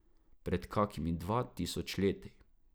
Pred kakimi dva tisoč leti.